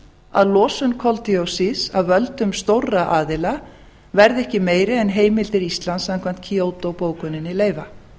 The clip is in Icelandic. að losun koldíoxíðs af völdum stórra aðila verði ekki meiri en heimildir íslands samkvæmt kyoto bókuninni leyfa